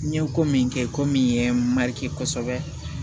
N ye ko min kɛ ko min ye kosɛbɛ